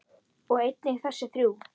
og einnig þessi þrjú